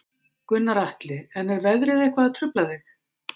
Gunnar Atli: En er veðrið eitthvað að trufla þig?